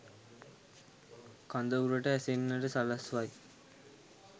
කඳවුරට ඇසෙන්නට සලස්වයි.